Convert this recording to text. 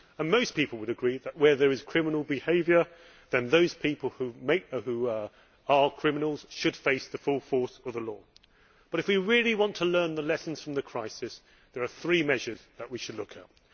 Most people would agree that where there is criminal behaviour then those people who are criminals should face the full force of the law. But if we really want to learn the lessons from the crisis, there are three measures that we should look at.